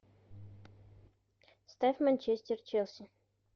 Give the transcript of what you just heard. ставь манчестер челси